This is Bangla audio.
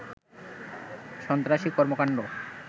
সন্ত্রাসী কর্মকাণ্ড